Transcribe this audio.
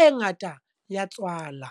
e ngata ya tswala.